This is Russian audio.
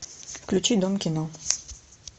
включи дом кино